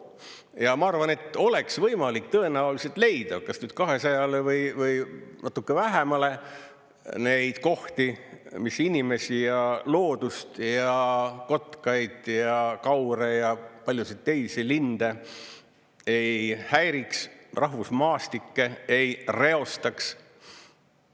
Ja ma arvan, et oleks võimalik tõenäoliselt leida kas 200-le või natuke vähemale neid kohti, mis inimesi ja loodust ja kotkaid ja kaure ja paljusid teisi linde ei häiriks, rahvusmaastikke ei reostaks.